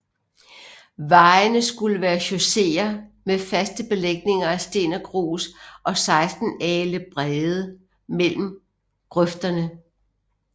Vejene skulle være chausseer med faste belægninger af sten og grus og 16 alen brede mellem grøfterne